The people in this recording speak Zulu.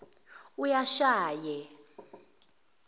uyashaye